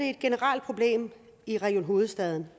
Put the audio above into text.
et generelt problem i region hovedstaden